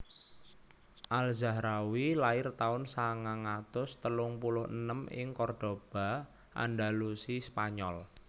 Al Zahrawi lair taun sangang atus telung puluh enem ing Cordoba Andalusi spanyol